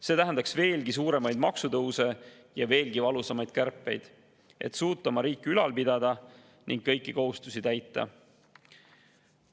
See tähendaks veelgi suuremaid maksutõuse ja veelgi valusamaid kärpeid selleks, et suuta oma riiki ülal pidada ning kõiki kohustusi täita.